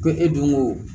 Ko e donko